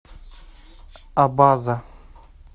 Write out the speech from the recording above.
абаза